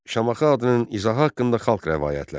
Şamaxı adının izahı haqqında xalq rəvayətləri.